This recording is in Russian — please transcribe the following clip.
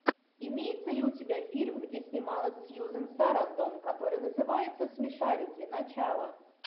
имеется ли у тебя фильм где снималась сьюзан сарандон который называется смешарики начало